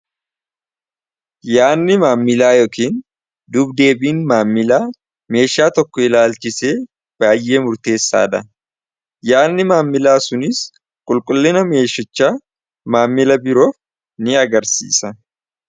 yaadni maammilaa yookiin dubdeebiin maammilaa meeshaa tokko ilaalchise baay'ee murteessaadha. yaadni maammilaa suniis qulqullina meeshichaa maammila biroof ni agarsiisa.